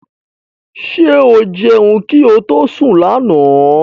Ṣé o jẹun kí ó tó sún lànà?